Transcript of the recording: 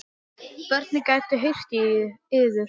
Börnin gætu heyrt í yður.